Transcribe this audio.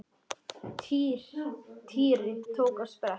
Týri tók á sprett.